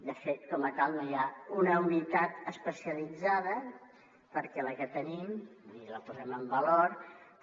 de fet com a tal no hi ha una unitat especialitzada perquè la que tenim i la posem en valor però